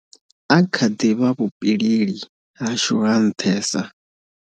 A kha ḓi vha vhupileli hashu ha nṱhesa.